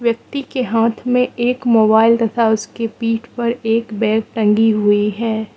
व्यक्ति के हाथ में एक मोबाइल तथा उसके पीठ पर एक बैग टंगी हुई है।